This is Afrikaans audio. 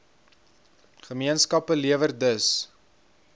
gemeenskappe lewer dus